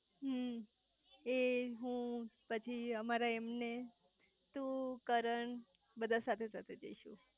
હમ્મ એ હું પછી અમારા એમને તું કરણ બધા સાથે સાથે જઈશું